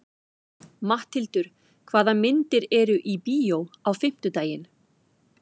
Matthildur, hvaða myndir eru í bíó á fimmtudaginn?